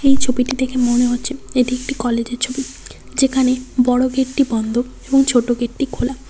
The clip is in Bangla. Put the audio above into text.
এই ছবিটি দেখে মনে হচ্ছে এটি একটি কলেজের ছবি যেখানে বড় গেটটি বন্ধ এবং ছোট গেটটি খোলা।